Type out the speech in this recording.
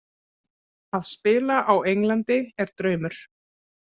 Að spila á Englandi er draumur.